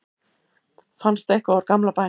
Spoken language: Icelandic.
fannst eitthvað úr gamla bænum